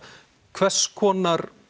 hvers konar